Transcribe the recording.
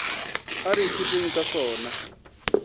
a re ithuteng ka sona